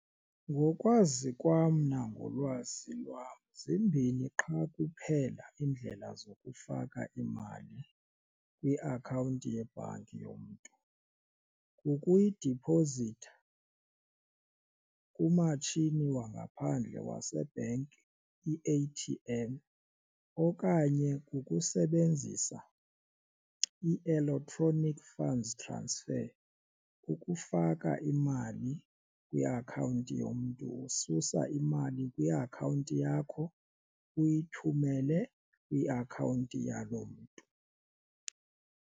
Ngokwazi kwam nangolwazi lwam zimbini qha kuphela iindlela zokufaka imali kwiakhawunti yebhanki yomntu, ngokuyidiphozitha kumatshini wangaphandle wasebhenki, i-A_T_M. Okanye kukusebenzisa i-electronic funds transfer ngokufaka imali kwiakhawunti yomntu ususa imali kwiakhawunti yakho, uyithumele kwiakhawunti yaloo mntu.